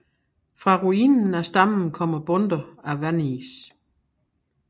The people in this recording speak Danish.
Fra ruinen af stammen kommer bundter af vanris